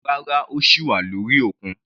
Rárá, ó sì wà lórí òkun.